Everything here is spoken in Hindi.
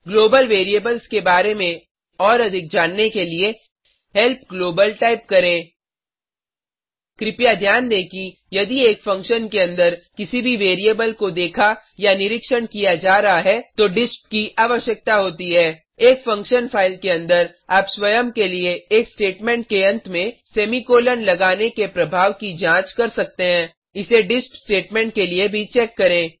ग्लोबल वैरिएबल्स के बारे में और अधिक जानने के लिए हेल्प ग्लोबल टाइप करें कृपया ध्यान दें कि यदि एक फंक्शन के अंदर किसी भी वैरिएबल को देखा या निरीक्षण किया जा रहा है तो डिस्प की आवश्यकता होती है एक फंक्शन फाइल के अंदर आप स्वयं के लिए एक स्टेटमेंट के अंत में सेमीकॉलन लगाने के प्रभाव की जांच कर सकते हैं इसे डिस्प स्टेटमेंट के लिए भी चेक करें